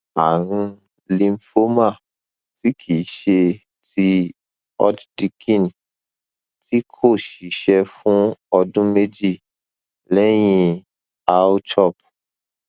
ààrùn lymphoma tí kì í ṣe ti hodgkin tí kò ṣiṣẹ fún ọdún méje lẹyìn rchop